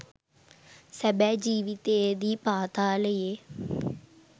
සැබෑ ජීවිතයේදී පාතාලයේ